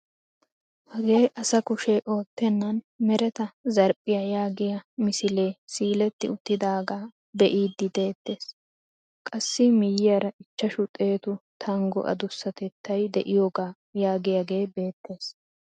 Hagee asa kushshee oottenan mereta zarphphiyaa yaagiyaa misilee siiletti uttidagaa be'iidi de'ettees. qassi miyiyaara ichchashu xeetu tanggo adusatettay de'iyooga yaagiyaagee beettees.